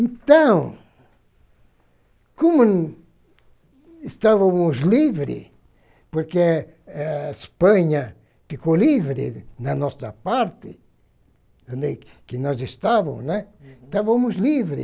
Então, como estávamos livres, porque eh a Espanha ficou livre na nossa parte, onde nós estávamos, né, uhum, estávamos livres.